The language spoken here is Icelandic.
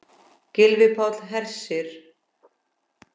Gylfi Páll Hersir.